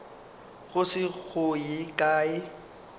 go se go ye kae